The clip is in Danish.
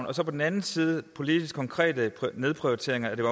og så på den anden side de politiske konkrete nedprioriteringer af